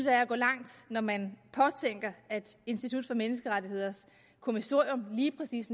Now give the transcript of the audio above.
at gå langt når man påtænker at institut for menneskerettigheders kommissorium lige præcis